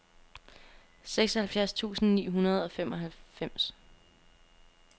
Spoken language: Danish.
seksoghalvfjerds tusind ni hundrede og femoghalvfems